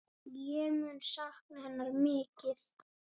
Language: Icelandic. Ég mun sakna hennar mikið.